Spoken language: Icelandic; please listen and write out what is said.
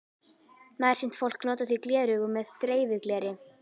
Nærsýnt fólk notar því gleraugu með dreifigleri.